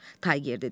Tayger dedi.